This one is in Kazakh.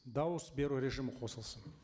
дауыс беру режимі қосылсын